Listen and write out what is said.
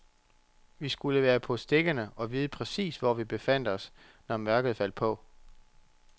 Vi skulle være på stikkerne og vide præcis, hvor vi befandt os, når mørket faldt på.